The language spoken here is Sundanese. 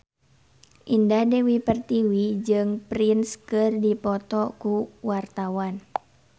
Indah Dewi Pertiwi jeung Prince keur dipoto ku wartawan